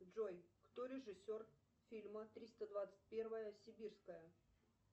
джой кто режиссер фильма триста двадцать первая сибирская